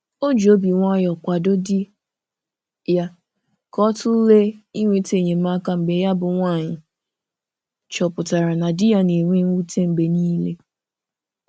O ji obi nwayọ kwado di ya ka ọ tụlee ịnweta enyemaka mgbe ya bụ nwaanyị chọpụtara na di ya na-enwe mwute mgbe niile.